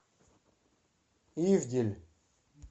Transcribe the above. ивдель